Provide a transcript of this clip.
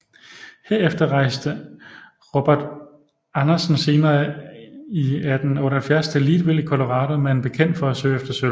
Herefter rejste Robert Andersen senere i 1878 til Leadville i Colorado med en bekendt for at søge efter sølv